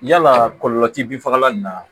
Yalaa kɔlɔlɔ ti bin fagalan in na